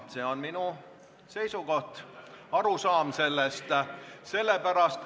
See on minu seisukoht, arusaam.